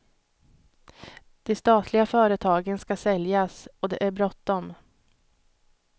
De statliga företagen ska säljas, och det är bråttom.